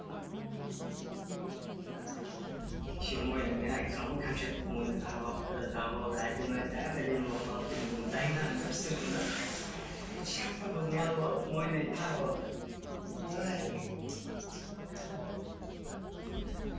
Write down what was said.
мен айтқанмын ғой кәмшаттың мойнына тағып алыпты тағып алды әдемі әп әдемі болып қалады деп дайындадым да пісірдім де